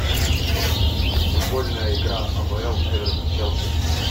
футбольная игра апл эвертон челси